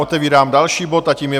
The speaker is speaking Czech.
Otevírám další bod, a tím je